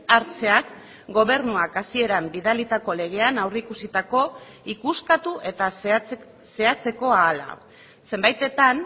hartzeak gobernuak hasieran bidalitako legean aurreikusitako ikuskatu eta zehatzeko ahala zenbaitetan